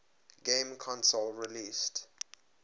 game console released